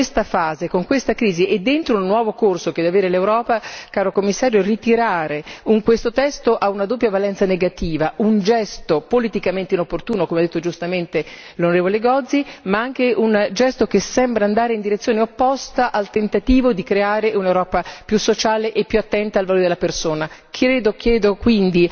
Credo perciò che in questa fase, con questa crisi e dentro un nuovo corso che deve avere l'Europa, caro Commissario, ritirare questo testo abbia una doppia valenza negativa e che sia un gesto politicamente inopportuno, come ha detto giustamente l'onorevole Gozi, ma anche un gesto che sembra andare in direzione opposta al tentativo di creare un'Europa più sociale e più attenta al valore della persona.